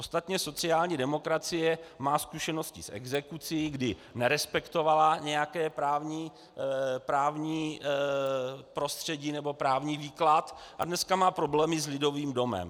Ostatně sociální demokracie má zkušenosti s exekucí, kdy nerespektovala nějaké právní prostředí nebo právní výklad a dnes má problémy s Lidovým domem.